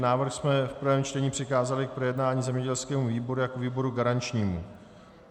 Návrh jsme v prvém čtení přikázali k projednání zemědělskému výboru jako výboru garančnímu.